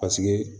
Paseke